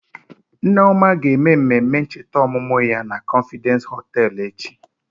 Nneoma ga-eme mmemme ncheta ọmụmụ ya na confidence hoteelu echi.